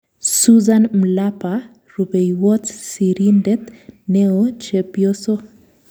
Suzan Mlapa. Rupeiywot sirindet neooChepyoso